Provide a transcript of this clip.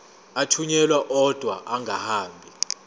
athunyelwa odwa angahambi